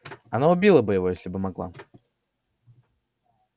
она убила бы его если бы могла